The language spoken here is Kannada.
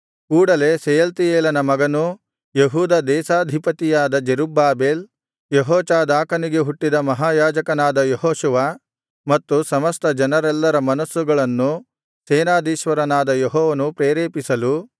ಕೂಡಲೇ ಶೆಯಲ್ತೀಯೇಲನು ಮಗನೂ ಯೆಹೂದ ದೇಶಾಧಿಪತಿಯಾದ ಜೆರುಬ್ಬಾಬೆಲ್ ಯೆಹೋಚಾದಾಕನಿಗೆ ಹುಟ್ಟಿದ ಮಹಾಯಾಜಕನಾದ ಯೆಹೋಶುವ ಮತ್ತು ಸಮಸ್ತ ಜನರೆಲ್ಲರ ಮನಸ್ಸುಗಳನ್ನು ಸೇನಾಧೀಶ್ವರನಾದ ಯೆಹೋವನು ಪ್ರೇರೇಪಿಸಲು